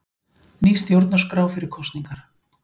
Ný stjórnarskrá fyrir kosningar